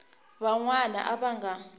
van wana a va nga